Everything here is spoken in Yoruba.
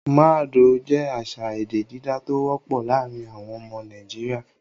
Mad oh' jẹ́ àṣà èdè dídá tó wọ́pọ̀ láàárin àwọn ọmọ Nàìjíríà.